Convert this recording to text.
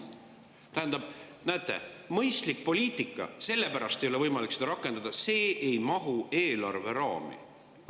Tähendab, näete, mõistlikku poliitikat ei ole sellepärast võimalik rakendada, et see ei mahu eelarve raami.